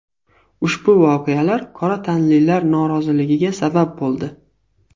Ushbu voqealar qora tanlilar noroziligiga sabab bo‘ldi.